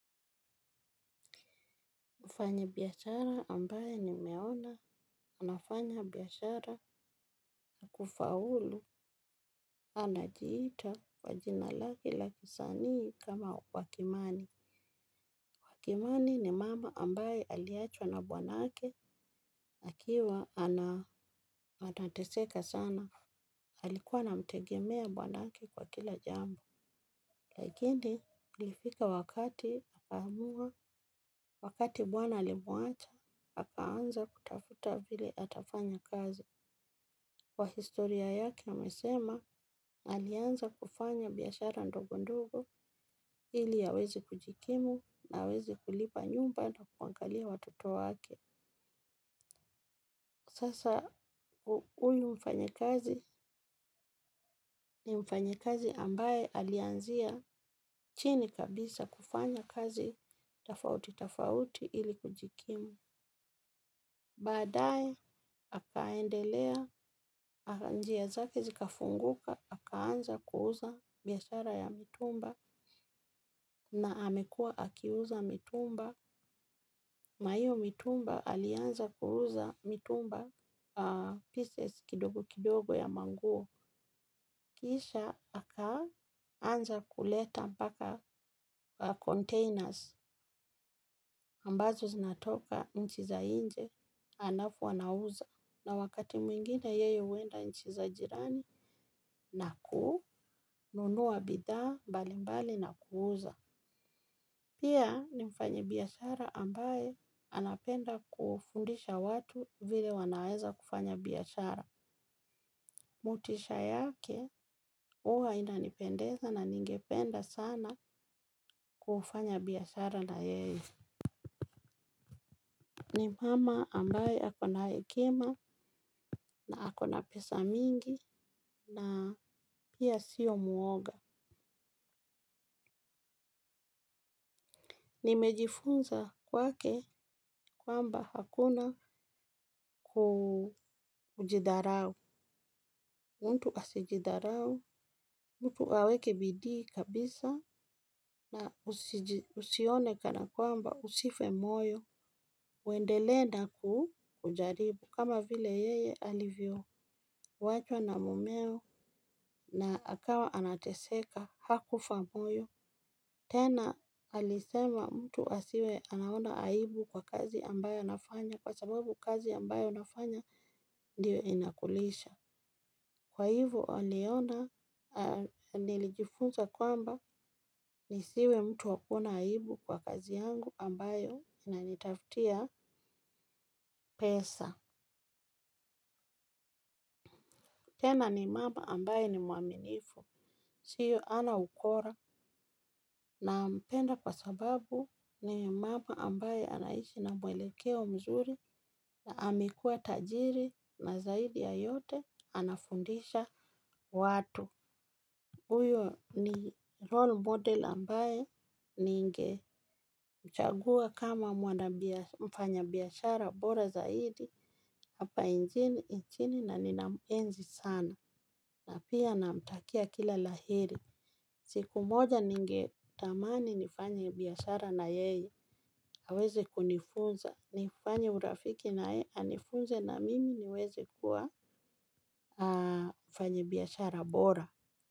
Mfanyibiashara ambaye nimeona, anafanya biashara na kufaulu, anajiita, kwa jina lake la kisanii kama wa kimani. Wa kimani ni mama ambaye aliachwa na bwanake, akiwa anateseka sana, alikuwa anamtegemea bwanake kwa kila jambo. Lakini, ilifika wakati akaamua, wakati bwana alimuacha, akaanza kutafuta vile atafanya kazi. Kwa historia yake, amesema, alianza kufanya biashara ndogo ndogo ili aweze kujikimu na aweze kulipa nyumba na kuangalia watoto wake. Sasa huyu mfanyikazi ni mfanyikazi ambaye alianzia chini kabisa kufanya kazi tofauti-tofauti ili kujikimu. Baadae, akaendelea, njia zake zikafunguka, akaanza kuuza biashara ya mitumba na amekuwa akiuza mitumba. Na iyo mitumba alianza kuuza mitumba pieces kidogo kidogo ya manguo. Kisha akaanza kuleta mpaka containers ambazo zinatoka nchi za nje alafu anauza. Na wakati mwingine yeye huenda nchi za jirani na kununua bidhaa mbalimbali na kuuza. Pia ni mfanyibiashara ambaye anapenda kufundisha watu vile wanaweza kufanya biashara. Motisha yake, huwa inanipendeza na ningependa sana kufanya biashara na yeye. Ni mama ambaye ako na hekima na ako na pesa mingi na pia sio muoga. Nimejifunza kwake kwamba hakuna kujidharau. Mtu asijidharau, mtu aweke bidii kabisa na usione kana kwamba usife moyo, uendelee na kujaribu kama vile yeye alivyowachwa na mumeo na akawa anateseka hakufa moyo. Tena alisema mtu asiwe anaona aibu kwa kazi ambayo yanafanya kwa sababu kazi ambayo unafanya ndio inakulisha. Kwa hivo aliona nilijifunza kwamba nisiwe mtu wa kuona aibu kwa kazi yangu ambayo inanitaftia pesa. Tena ni mama ambaye ni muaminifu. Sio hana ukora nampenda kwa sababu ni mama ambaye anaishi na mwelekeo mzuri na amekuwa tajiri na zaidi ya yote anafundisha watu. Uyo ni role model ambaye ningemchagua kama mwana mfanyabiashara bora zaidi hapa nchini na ninamuenzi sana na pia namtakia kila la heri. Siku moja ningetamani nifanye biashara na yeye. Aweze kunifunza. Nifanye urafiki na yeye anifunze na mimi niweze kuwa mfanyibiashara bora.